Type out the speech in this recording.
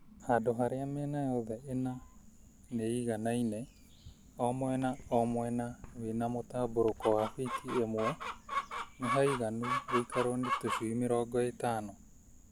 Handũ harĩa mĩena yothe ĩna nĩ ĩiganaine o mwena o mwena wĩ na mũtambũrũko wa biti ĩmwe nĩhaiganu gũikarwo nĩ tũcui mĩrongo ĩtano.